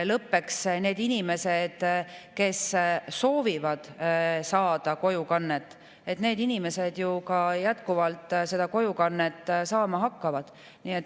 Lõppeks need inimesed, kes soovivad saada kojukannet, ju ka jätkuvalt seda kojukannet saavad.